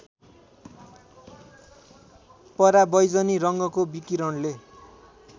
परावैजनी रङ्गको विकिरणले